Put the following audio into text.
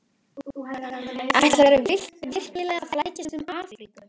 Ætlarðu virkilega að flækjast um Afríku?